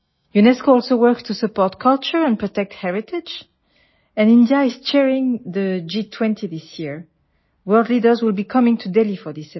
UNESCO also works to support culture and protect heritage and India is chairing the G20 this year world leaders would be coming to Delhi for this event